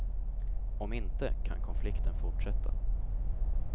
Om inte, kan konflikten fortsätta.